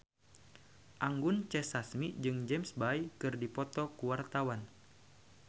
Anggun C. Sasmi jeung James Bay keur dipoto ku wartawan